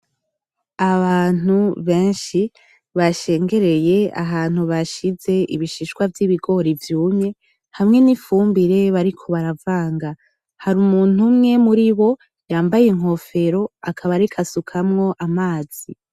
Abantu benshi bashengereye ahantu bashize ibishishwa vy'ibigori vyumye hamwe n'ifumbire bariko baravanga, hari umuntu umwe muri bo yambaye inkofero akaba ariko asukamwo amazi.